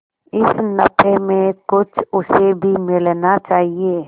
इस नफे में कुछ उसे भी मिलना चाहिए